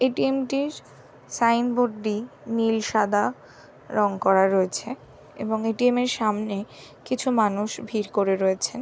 ATM. টির signboard টি নীল সাদা রং করা রয়েছে এবং এ. টি. এম. এর সামনে কিছু মানুষ ভিড় করে রয়েছে।